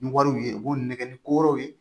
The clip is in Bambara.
Ni wariw ye u b'u nɛgɛ ni ko wɛrɛw ye